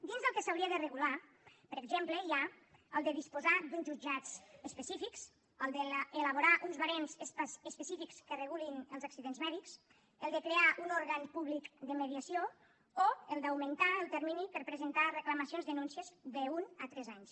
dins del que s’hauria de regular per exemple hi ha el fet de disposar d’uns jutjats específics el fet d’elaborar uns barems específics que regulin els accidents mèdics el fet de crear un òrgan públic de mediació o el fet d’augmentar el termini per a presentar reclamacions denúncies d’un a tres anys